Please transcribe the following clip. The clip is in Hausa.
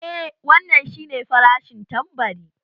Eeh wannan shi nefarashin tambari